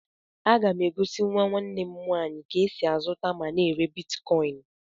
A ga m egosi nwa Nne m nwaanyị ka e sị azuta ma na èrè bịtkọin